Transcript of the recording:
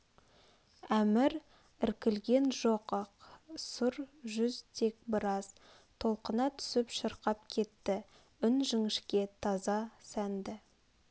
әмір іркілген жоқ ақ сұр жүз тек біраз толқына түсіп шырқап кетті үн жіңішке таза сәнді